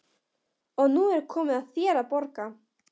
Og nú er komið að þér að borga.